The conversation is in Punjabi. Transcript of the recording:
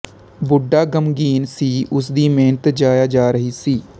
ਬੁੱਢਾ ਗ਼ਮਗ਼ੀਨ ਸੀ ਉਸ ਦੀ ਮਿਹਨਤ ਜ਼ਾਇਆ ਜਾ ਰਹੀ ਸੀ